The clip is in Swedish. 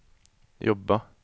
jobba